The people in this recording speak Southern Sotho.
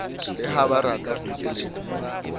le ha barata ho nkeletsa